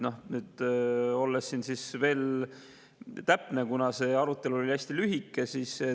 Nüüd siis täpsustan veel, kuna see arutelu oli hästi lühike.